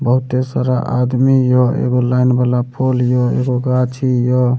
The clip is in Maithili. बहुते सारा आदमी या एगो लाइन वला पोल या एगो गाछी या।